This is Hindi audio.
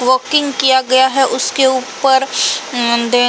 वोकिंग किया गया है। उसके ऊपर न्-दे --